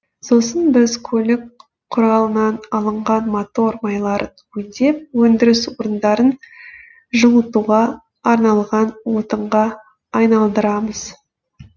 сосын біз көлік құралынан алынған мотор майларын өңдеп өндіріс орындарын жылытуға арналған отынға айналдырамыз